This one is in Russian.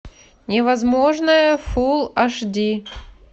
невозможное фулл аш ди